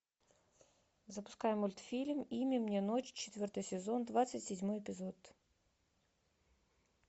запускай мультфильм имя мне ночь четвертый сезон двадцать седьмой эпизод